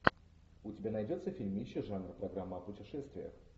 у тебя найдется фильмище жанра программа о путешествиях